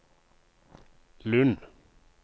Lund